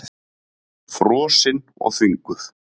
Frosin og þvinguð.